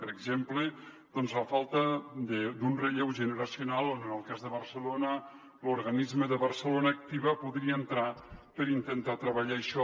per exemple la falta d’un relleu generacional on en el cas de barcelona l’organisme de barcelona activa podria entrar per intentar treballar això